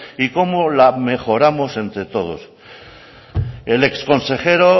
y cómo la mejoramos entre todos el exconsejero